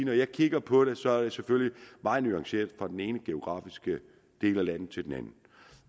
når jeg kigger på det ser jeg det selvfølgelig meget nuanceret fra den ene geografiske del af landet til den anden